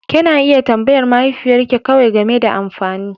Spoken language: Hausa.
Kena iya tambayar mahaifiyar ke kawai game da amfani.